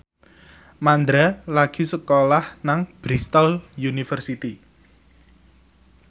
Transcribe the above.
Mandra lagi sekolah nang Bristol university